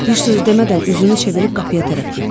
Bir söz demədən üzünü çevirib qapıya tərəf getdi.